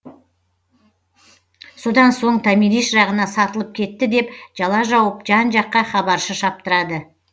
содан соң томирис жағына сатылып кетті деп жала жауып жан жаққа хабаршы шаптырады